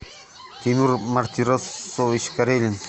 тимур мартиросович карелин